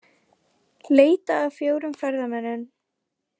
Leita að fjórum ferðamönnum